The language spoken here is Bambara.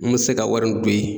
N mɛ se ka wari in don yen